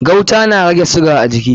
Gauta na rage shuga a jiki.